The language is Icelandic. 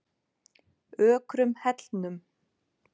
Ökrum Hellnum